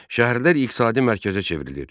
Şəhərlər iqtisadi mərkəzə çevrilir.